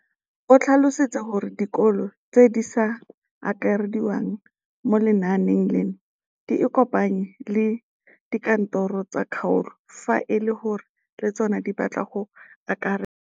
O tlhalositse gore dikolo tse di sa akarediwang mo lenaaneng leno di ikopanye le dikantoro tsa kgaolo fa e le gore le tsona di batla go akarediwa.